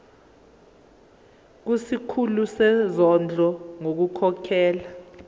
kusikhulu sezondlo ngokukhokhela